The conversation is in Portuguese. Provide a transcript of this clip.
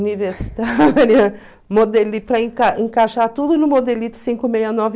universitária, modelito para encai encaixar tudo no modelito cinco meia nove